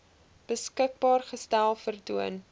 beskikbaar gestel vertoon